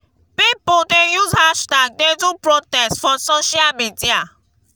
pipo don dey use hashtag dey do protest for social media.